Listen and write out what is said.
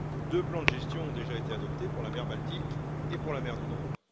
Deux plans de gestion ont déjà été adoptés, pour la mer Baltique et pour la mer du Nord.